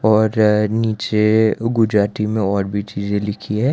और यह नीचे गुजराती में और भी चीजें लिखी है।